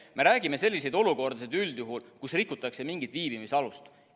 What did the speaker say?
Me räägime üldjuhul sellistest olukordadest, kus rikutakse mingit viibimisalust.